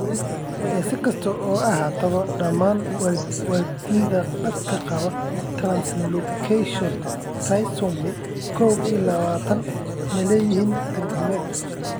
Si kastaba ha ahaatee, dhammaan waalidiinta dadka qaba translocation trisomy kow iyo lawatan ma leeyihiin tarjumid.